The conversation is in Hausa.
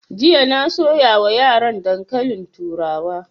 Jiya na soya wa yaran dankalin turawa